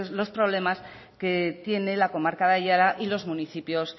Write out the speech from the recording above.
los problemas que tiene la comarca de aiara y los municipios